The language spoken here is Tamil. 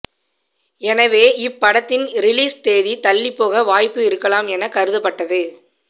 எனவே இப்படத்தின் ரிலீஸ் தேதி தள்ளிப்போக வாய்ப்பு இருக்கலாம் என கருதப்பட்டது